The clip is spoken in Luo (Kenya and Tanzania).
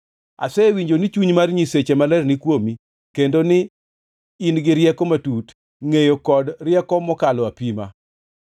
Asewinjo ni chuny mar nyiseche maler ni kuomi, kendo ni in gi rieko matut, ngʼeyo kod rieko mokalo apima.